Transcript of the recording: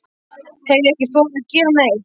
Hef ekki þorað að gera neitt.